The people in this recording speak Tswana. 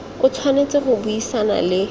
o tshwanetse go buisana le